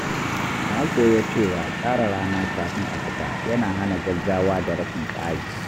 Na koya cewa tsara rana kafin a fita yana hana gaggawa da rashin tsari.